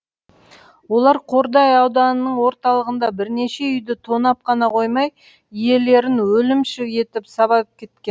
олар қордай ауданының орталығында бірнеше үйді тонап қана қоймай иелерін өлімші етіп сабап кеткен